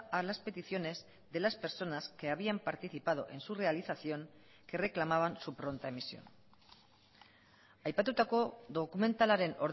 a las peticiones de las personas que habían participado en su realización que reclamaban su pronta emisión aipatutako dokumentalaren